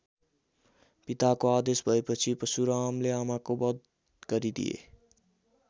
पिताको आदेश भएपछि परशुरामले आमाको वध गरिदिए।